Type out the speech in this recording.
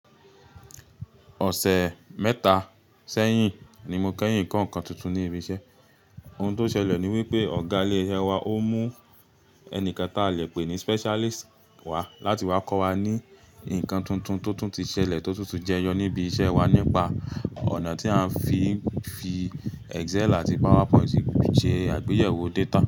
Ọ̀sẹ̀ mẹ́ta sẹ́yìn ni mo kẹ́yìn ko nǹkan tuntun ni ibi iṣẹ́. Ohun tó ṣẹlẹ̀ ni wípé Ọ̀gá ilé iṣẹ́ wa ó mú ẹni kan táa lè pè ní specialist wá láti wá kọ́ wa ní ǹkan tuntun tó tún ti ṣẹlẹ̀ tó tún ti jẹyọ níbi iṣẹ́ wa nípa ọ̀nà tí a ń fi Excel àti PowerPoint ṣe àgbéyẹ̀wò data.